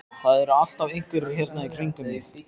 Það eru alltaf einhverjir hérna í kringum mig.